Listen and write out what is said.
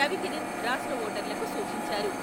రవి కిరణ్ రాష్ట్ర ఓటర్లకు సూచించారు.